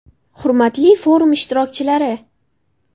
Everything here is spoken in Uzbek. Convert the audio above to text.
Hurmatli forum ishtirokchilari!